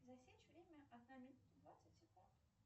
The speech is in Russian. засечь время одна минута двадцать секунд